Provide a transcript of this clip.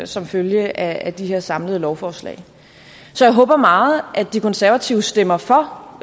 som følge af de her samlede lovforslag så jeg håber meget at de konservative stemmer for